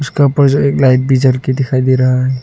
इसका ऊपर जो एक लाइट भी जल के दिखाई दे रहा है।